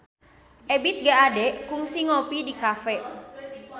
Ebith G. Ade kungsi ngopi di cafe